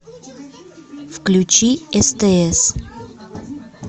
включи стс